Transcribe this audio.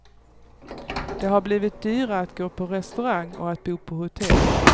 Det har blivit dyrare att gå på restaurang och att bo på hotell.